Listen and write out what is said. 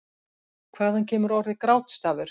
Hvaðan kemur orðið grátstafur?